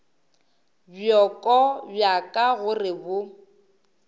bjoko bja ka gore bo